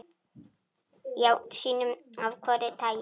Já, sínum af hvoru tagi.